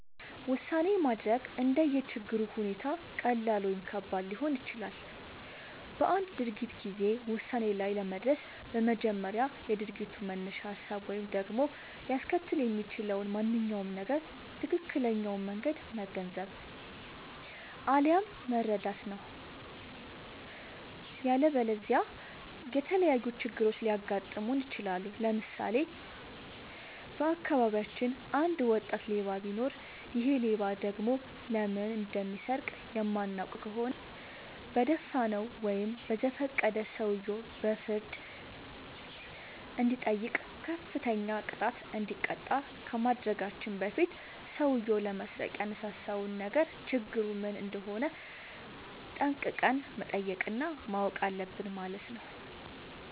ውሳኔ ማድረግ እንደየ ችግሩ ሁኔታ ቀላል ወይም ከባድ ሊሆን ይችላል። በአንድ ድርጊት ጊዜ ውሳኔ ላይ ለመድረስ በመጀመሪያ የድርጊቱን መነሻ ሀሳብ ወይም ደግሞ ሊያስከትል የሚችለውን ማንኛውም ነገር ትክክለኛውን መንገድ መገንዘብ፣ አለያም መረዳት ነው።. ያለበለዚያ የተለያዩ ችግሮች ሊያጋጥሙን ይችላሉ። ለምሳሌ:- በአካባቢያችን አንድ ወጣት ሌባ ቢኖር ይሔ ሌባ ደግሞ ለምን እንደሚሰርቅ የማናውቅ ከሆነ በደፋናው ወይም በዘፈቀደ ሰውየው በፍርድ እንዲጠይቅ፤ ከፍተኛ ቅጣት እንዲቀጣ ከማድረጋችን በፊት ሠውዬው ለመስረቅ ያነሳሳውን ነገር ችግሩ ምን እንደሆነ ጠንቅቀን መጠየቅ እና ማወቅ አለብን ማለት ነው።